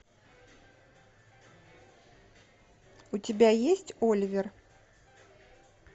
у тебя есть оливер